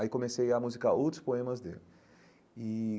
Aí comecei a musicar outros poemas dele e.